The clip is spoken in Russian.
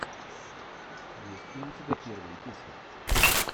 есть ли у тебя первые песни